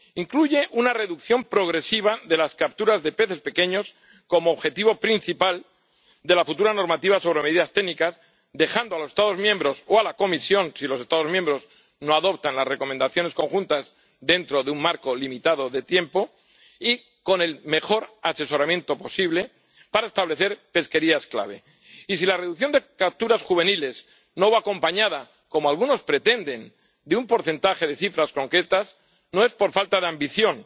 Incluye una reducción progresiva de las capturas de peces pequeños como objetivo principal de la futura normativa sobre medidas técnicas, dejando a los Estados miembros o a la Comisión, si los Estados miembros no adoptan las recomendaciones conjuntas dentro de un marco limitado de tiempo, con el mejor asesoramiento posible para establecer pesquerías clave. Y, si la reducción de capturas juveniles no va acompañada, como algunos pretenden, de un porcentaje de cifras concretas, no es por falta de ambición,